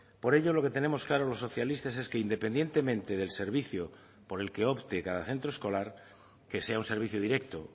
por ello lo que tenemos claro los socialistas es que independientemente del servicio por el que opte cada centro escolar que sea un servicio directo